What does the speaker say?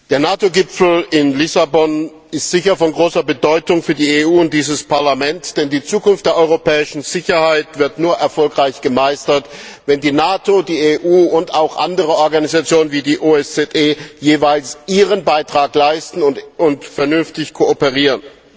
Der NATO Gipfel in Lissabon ist sicher von großer Bedeutung für die EU und dieses Parlament, denn die Zukunft der europäischen Sicherheit wird nur dann erfolgreich gemeistert, wenn die NATO, die EU und auch andere Organisationen wie die OSZE jeweils ihren Beitrag leisten und vernünftig kooperieren.